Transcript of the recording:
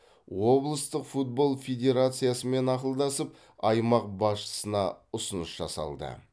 облыстық футбол федерациясымен ақылдасып аймақ басшысына ұсыныс жасалды